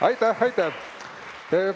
Aitäh-aitäh-aitäh!